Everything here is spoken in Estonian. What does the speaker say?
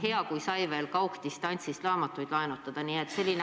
Hea seegi, kui sai distantsilt raamatuid laenutada.